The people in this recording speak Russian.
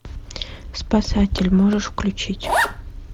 спасатель можешь включить